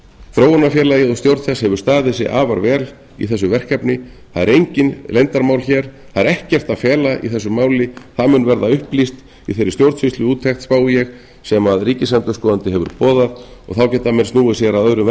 þróunarfélagið og stjórn þess hefur staðið sig afar vel í þessu verkefni það eru engin leyndarmál hér það er ekkert að fela í þessu máli það mun verða upplýst í þeirri stjórnsýsluúttekt spái ég sem ríkisendurskoðandi hefur boðað og þá geta menn snúið sér að öðrum